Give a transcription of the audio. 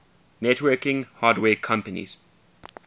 networking hardware companies